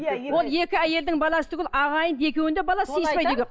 ол екі әйелдің баласы түгілі ағайынды екеуінде баласы сыйыспайды үйге